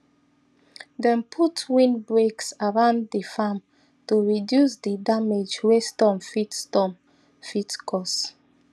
dem put windbreaks around di farm to reduce di damage wey storm fit storm fit cause